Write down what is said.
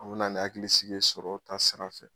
A bɛna ni hakilisigi ye sɔrɔ ta sira fɛ.